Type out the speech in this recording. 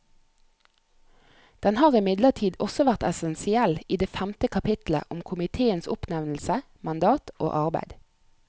Den har imidlertid også vært essensiell i det femte kapitlet om komiteens oppnevnelse, mandat og arbeid.